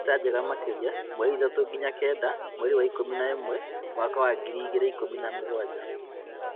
Mbica njega makĩria: mweri ithatũ nginya Kenda mweri wa ikũmi na ũmwe mwaka wa ngiri igĩrikumi na mũgwanja